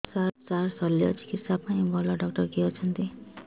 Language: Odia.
ସାର ଶଲ୍ୟଚିକିତ୍ସା ପାଇଁ ଭଲ ଡକ୍ଟର କିଏ ଅଛନ୍ତି